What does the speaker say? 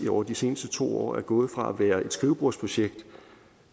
over de seneste to år er gået fra at være et skrivebordsprojekt